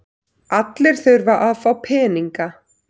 Allir þurfa að fá peninga.